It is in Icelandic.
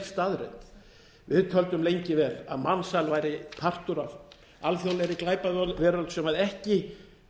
staðreynd við töldum lengi vel að mansal væri partur af alþjóðlegri glæpaveröld sem ekki